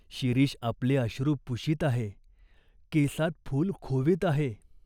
कोणी पारधी तर नाही ना आला ? कोणी शिकारी तर नाही ना आला ?